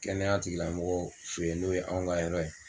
Kɛnɛyatigilamɔgɔ fɛ yen n'o ye anw ka yɔrɔ ye